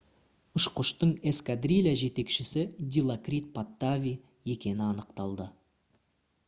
ұшқыштың эскадрилья жетекшісі дилокрит паттави екені анықталды